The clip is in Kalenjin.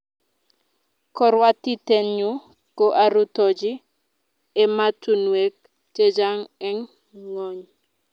Karwotitennyu ko arutochi ematunwek chechang' eng' ng'ony